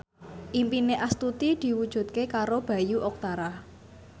impine Astuti diwujudke karo Bayu Octara